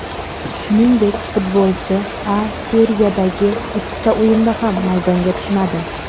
Shuningdek, futbolchi A Seriyadagi ikkita o‘yinda ham maydonga tushmadi.